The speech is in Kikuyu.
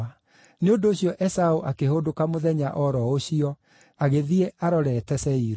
Nĩ ũndũ ũcio Esaũ akĩhũndũka mũthenya o ro ũcio agĩthiĩ arorete Seiru.